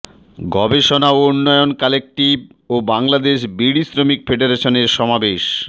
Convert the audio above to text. গবেষণা ও উন্নয়ন কালেকটিভ ও বাংলাদেশ বিড়ি শ্রমিক ফেডারেশনের সমাবেশ